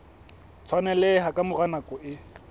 tshwaneleha ka mora nako e